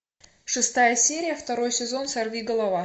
шестая серия второй сезон сорвиголова